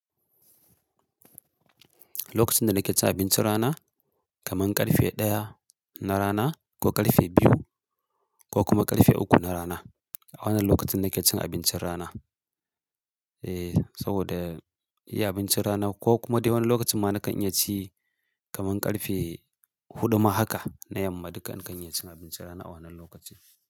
Lokacin da nake cin abincin rana kaman ƙarfe ɗaya na rana ko ƙarfe biyu ko kuma ƙarfe uku na rana. A wannan lokacin nake cin abincin rana. E, saboda iya abincin rana ko kuma dai wani lokacin ma na kan iya ci kaman ƙarfe huɗu ma haka na yamma duk in kan iya cin abincin rana a wannan lokaci.